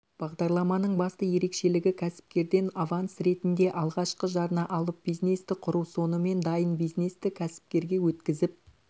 бағдарламаның басты ерекшелігі кәсіпкерден аванс ретінде алғашқы жарна алып бизнесті құру сонымен дайын бизнесті кәсіпкерге өткізіп